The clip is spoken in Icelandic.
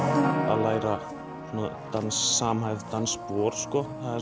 að læra samhæfð dansspor er